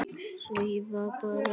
Svífa bara.